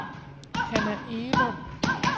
Hannah Egelund